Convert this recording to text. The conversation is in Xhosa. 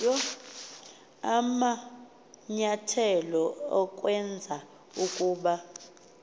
amanyathelo ukwenza ukuba